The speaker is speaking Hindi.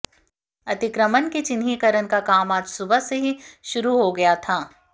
अतिक्रमण के चिन्हीकरण का काम आज सुबह से ही शुरू हो गया था